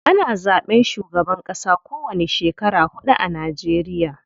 Ana zaɓen shugaban ƙasa ko wani shekara huɗu a Najeriya.